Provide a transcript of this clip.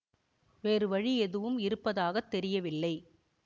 வேறு வழி எதுவும் இருப்பதாக தெரியவில்லை